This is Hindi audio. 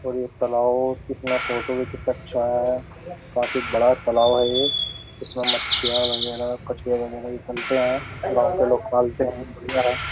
और ये तलाव कितना फोटो भी कितना अच्छा आया है। काफी बड़ा तालाव है ये। इसमें मच्छियाँ वगैरा कछुएँ वगेरा भी पलते हैं। गांव के लोग पालते हैं। बढ़िया है।